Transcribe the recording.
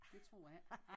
Det tror jeg ikke